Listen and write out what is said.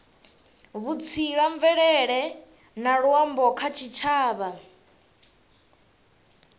vhutsila mvelele na luambo kha tshitshavha